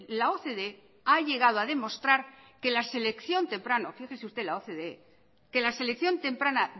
la ocde ha llegado a demostrar que la selección temprana fíjese usted la ocde